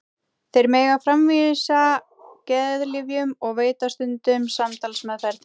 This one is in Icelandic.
Þeir mega framvísa geðlyfjum og veita stundum samtalsmeðferð.